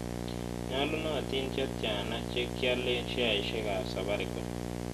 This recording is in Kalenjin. Nyolunotin che tyana che kialen sheaisiekap safaricom